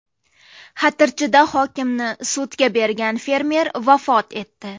Xatirchida hokimni sudga bergan fermer vafot etdi.